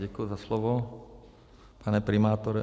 Děkuji za slovo, pane primátore.